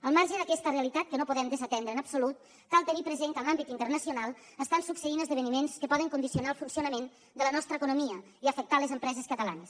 al marge d’aquesta realitat que no podem desatendre en absolut cal tenir present que en l’àmbit internacional estan succeint esdeveniments que poden condicionar el funcionament de la nostra economia i afectar les empreses catalanes